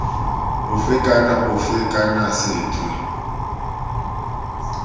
ofe kana ofe kana sethwe